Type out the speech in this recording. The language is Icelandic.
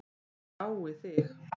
Ég dái þig.